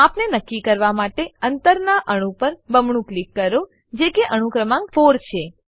માપને નક્કી કરવા માટે અંતનાં અણુ પર બમણું ક્લિક કરો જે કે અણુ ક્રમાંક 4 છે